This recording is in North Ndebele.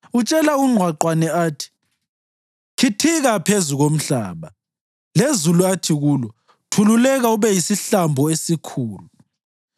Utshela ungqwaqwane athi, ‘Khithika phezu komhlaba,’ lezulu athi kulo, ‘Thululeka ube yisihlambo esikhulu.’